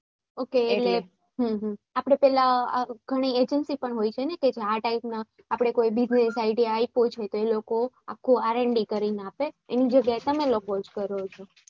ok એટલે આપણે પેહલા ઘણી agency પણ હોય છે ને કે આ type ના કોઈ બીજું આપ્યો છે એલોકો આખું RND કરીને આપે એની જગ્યા એ તમે લોક જ કરો છો